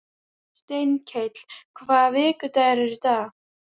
Steinkell, hvaða vikudagur er í dag?